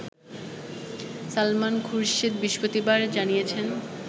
সালমান খুরশিদ বৃহস্পতিবার জানিয়েছেন